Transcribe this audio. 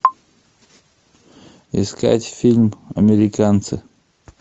искать фильм американцы